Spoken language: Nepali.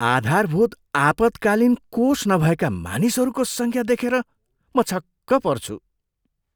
आधारभूत आपतकालीन कोष नभएका मानिसहरूको सङ्ख्या देखेर म छक्क पर्छु।